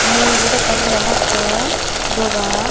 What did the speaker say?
mui ibot ekkan degongotte dogan.